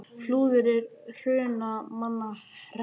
Flúðir er í Hrunamannahreppi.